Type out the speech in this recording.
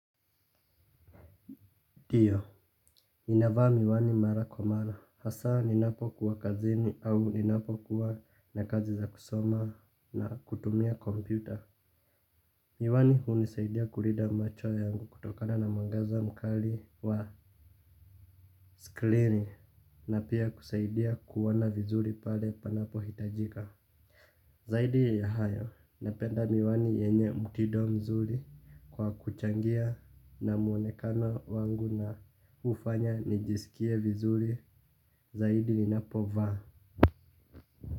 Ndio, ninavaa miwani mara kwa mara. Hasa ninapo kuwa kazini au ninapo kuwa na kazi za kusoma na kutumia kompyuta. Miwani hunisaidia kulida macho yangu kutokana na mwangaza mkali wa sklini na pia kusaidia kuona vizuri pale panapo hitajika. Zaidi ya hayo, napenda miwani yenye mutido mzuri kwa kuchangia na muonekano wangu na ufanya nijisikie vizuri zaidi ninapo vaa.